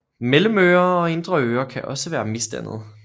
Mellemøre og indre øre kan også være misdannet